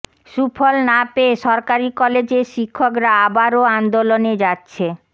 সুফল না পেয়ে সরকারি কলেজের শিক্ষকরা আবারও আন্দোলনে যাচ্ছে